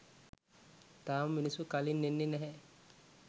තාම මිනිස්සු කලින් එන්නේ නැහැ.